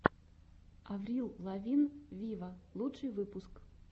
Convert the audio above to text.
аврил лавин виво лучший выпуск